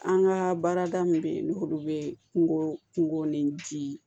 An ka baarada min bɛ yen n'olu bɛ kungo kungo ni di